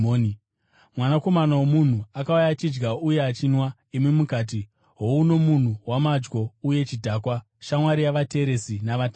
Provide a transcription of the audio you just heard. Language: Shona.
Mwanakomana woMunhu akauya achidya uye achinwa, imi mukati, ‘Houno munhu wamadyo uye chidhakwa, shamwari yavateresi na“vatadzi”.’